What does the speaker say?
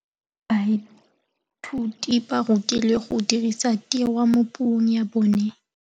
Baithuti ba rutilwe go dirisa tirwa mo puong ya bone.